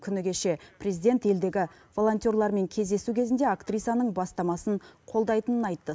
күні кеше президент елдегі волонтерлармен кездесу кезінде актрисаның бастамасын қолдайтынын айтты